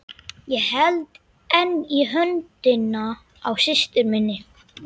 Ég held enn í höndina á systur minni.